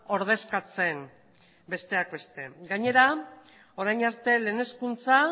ordezkatzen besteak beste gainera orain arte lehen hezkuntza